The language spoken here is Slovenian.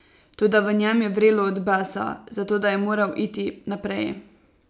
Toda v njem je vrelo od besa, zato da je moral iti naprej.